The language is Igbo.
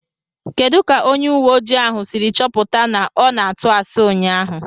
Kedu ka onye ùwé ojii ahụ siri chọpụta na ọ na-atụ asi ụnyaahụ?